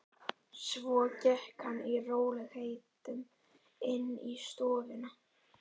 Svo gekk hann í rólegheitum inn í stofuna.